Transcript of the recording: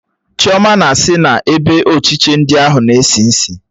Chioma na-sị na ebe ochiche ndi ahụ na-esi isi